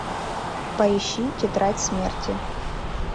поищи тетрадь смерти